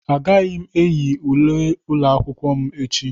Agaghị m eyi uwe ụlọ akwụkwọ m echi.